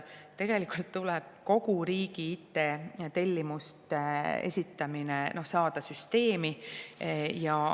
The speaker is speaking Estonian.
Tegelikult tuleb kogu riigi IT-tellimuste esitamise süsteem.